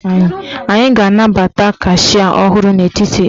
Anyị ga-anabata kashịa ọhụrụ n'etiti anyị.